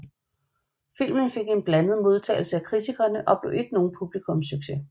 Filmen fik en blandet modtagelse af kritikerne og blev ikke nogen publikumssucces